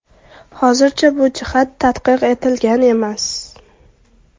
Hozircha bu jihat tadqiq etilgan emas.